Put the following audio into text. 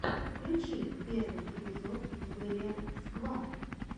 включи первый эпизод вэлиал сквад